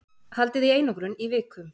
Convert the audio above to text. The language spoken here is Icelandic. Haldið í einangrun í viku